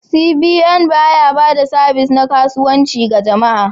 CBN ba ya ba da sabis na kasuwanci ga jama'a.